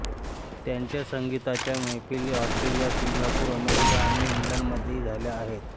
त्यांच्या संगीताच्या मैफिली ऑस्ट्रेलिया सिंगापूर अमेरिका आणि इंग्लंडमध्येही झाल्या आहेत